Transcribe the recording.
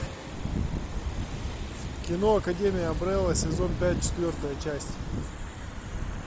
кино академия амбрелла сезон пять четвертая часть